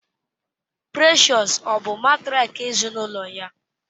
Precious ọ bụ matrịak ezinụlọ ya?